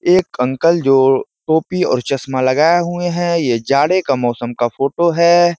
एक अंकल जो टोपी और चश्मा लगाये हुए हैं। ये जाड़े के मौसम का फ़ोटो है।